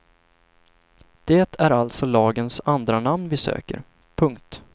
Det är alltså lagens andranamn vi söker. punkt